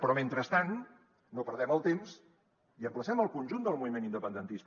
però mentrestant no perdem el temps i emplacem el conjunt del moviment independentista